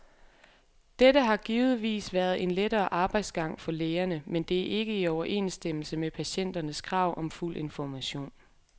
Dette har givetvis været en lettere arbejdsgang for lægerne, men det er ikke i overensstemmelse med patienternes krav om fuld information.